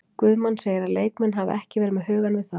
Guðmann segir að leikmenn hafi ekki verið með hugann við það.